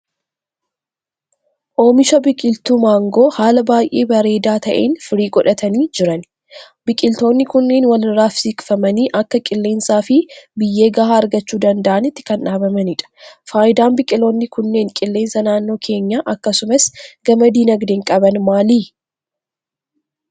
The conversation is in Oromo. Oomisha biqiltuu maangoo haala baay'ee bareedaa ta'een firii godhatanii jiran. Biqiltoonni kunneen walirraa siiqfamanii akka qilleensaa fi biyyee gahaa argachuu danda'nitti kan dhaabamanidha. Faayidaan biqiloonni kunneen qilleensa naannoo keenyaa akkasumas gama dinagdeen qaban maali?